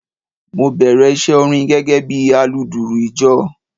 Mo bèrè iṣẹ́ orin gẹ́gẹ́ bí aludùrù ìjọ.